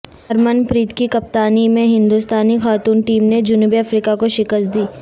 Hermann پریت کی کپتانی میں ہندوستانی خاتون ٹیم نے جنوبی افریقہ کو شکست دی